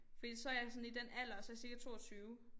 Fordi så jeg sådan i den alder så jeg cirka 22